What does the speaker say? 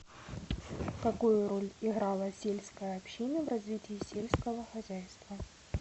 какую роль играла сельская община в развитии сельского хозяйства